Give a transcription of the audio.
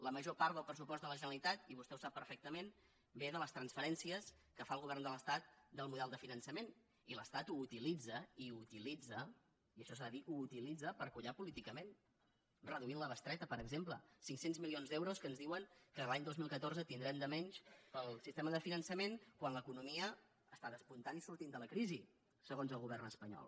la major part del pressupost de la generalitat i vostè ho sap perfectament ve de les transferències que fa el govern de l’estat del model de finançament i l’estat ho utilitza i ho utilitza i això s’ha de dir ho utilitza per collar política ment reduint la bestreta per exemple cinc cents milions d’euros que ens diuen que l’any dos mil catorze tindrem de menys pel sistema de finançament quan l’economia està despuntant i sortint de la crisi segons el govern espanyol